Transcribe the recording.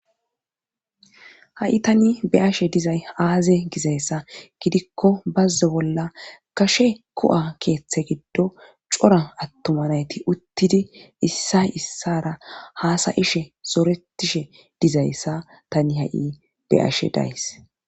Ha7i tani beashe dizay aaze gizayssa gidikko bazze bolla kashe ku7a keeththe giddo cora attumanayti uttidi issay issara haasayishe soretishe dizayssa tani ha7i be ashe days.